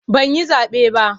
Ban yi zaɓe ba.